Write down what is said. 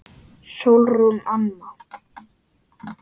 Sólrún Anna.